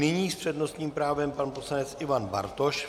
Nyní s přednostním právem pan poslanec Ivan Bartoš.